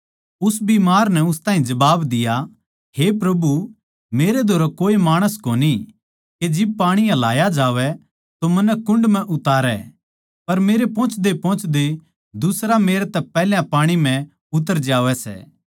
उस बीमार नै उस ताहीं जबाब दिया हे प्रभु मेरै धोरै कोए माणस कोनी के जिब पाणी हलाया जावै तो मन्नै कुण्ड म्ह तारै पर मेरे पोहोचदयेपोहोचदये दुसरा मेरतै पैहल्या उतर जावै सै